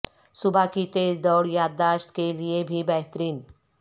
صبح کی تیز دوڑ یادداشت کے لیے بھی بہترین